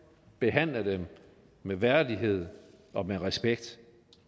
behandle dem med værdighed og med respekt